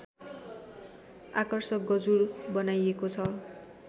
आकर्षक गजुर बनाइएको छ